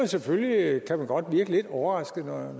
selvfølgelig godt blive lidt overrasket når